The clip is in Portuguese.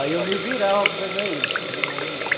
Aí eu me virava para pegar eles, porque era bom demais.